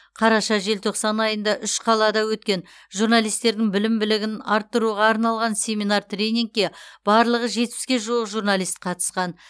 қараша желтоқсан айында үш қалада өткен журналистердің білім білігін арттыруға арналған семинар тренингке барлығы жетпіске жуық журналист қатысқан